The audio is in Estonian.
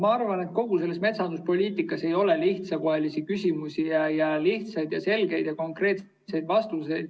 Ma arvan, et kogu metsanduspoliitikas ei ole lihtsakoelisi küsimusi ega lihtsaid, selgeid ja konkreetseid vastuseid.